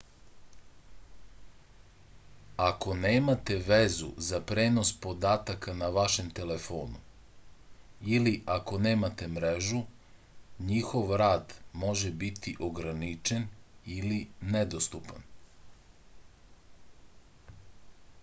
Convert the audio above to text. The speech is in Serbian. ako nemate vezu za prenos podataka na vašem telefonu ili ako nemate mrežu njihov rad može biti ograničen ili nedostupan